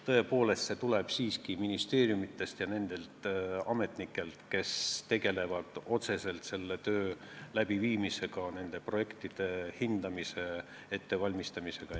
Tõepoolest, see ettepanek tuli siiski ministeeriumidest ja nendelt ametnikelt, kes tegelevad otseselt selle tööga, nende projektide hindamise ja ettevalmistamisega.